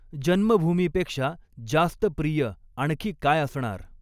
जन्मभूमीपेक्षा जास्त प्रिय आणखी काय असणार